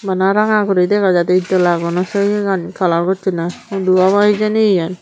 bana ranga guri dega jaidey itdola guno seyegani kalar gossonney hudu obw hijeni yen.